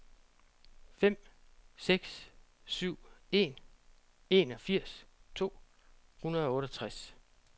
fem seks syv en enogfirs to hundrede og otteogtres